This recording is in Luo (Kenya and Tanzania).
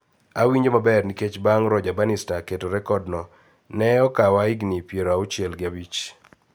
Awinjo maber nikech bang` Roger Bannister keto rekod no ne okawa higni pier auchiel gi abich